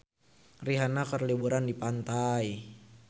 Rihanna keur liburan di pantai